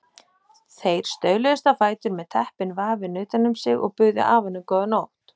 Þeir stauluðust á fætur með teppin vafin utan um sig og buðu afanum góða nótt.